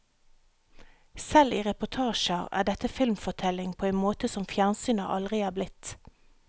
Selv i reportasjer er dette filmfortelling på en måte som fjernsynet aldri er blitt.